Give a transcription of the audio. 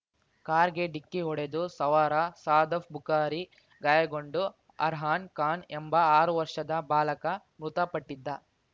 ಕಾರ್‌ಗೆ ಡಿಕ್ಕಿ ಹೊಡೆದು ಸವಾರ ಸದಾಫ್ ಬುಕಾರಿ ಗಾಯಗೊಂಡು ಅರ್ಹಾನ್ ಖಾನ್ ಎಂಬ ಆರು ವರ್ಷದ ಬಾಲಕ ಮೃತಪಟ್ಟಿದ್ದ